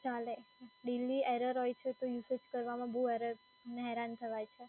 ચાલે daily error હોય છે તો usage કરવામાં બઉ હેરાન થવાય છે.